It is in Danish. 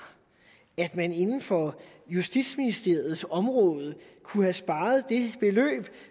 at man inden for justitsministeriets område kunne have sparet det beløb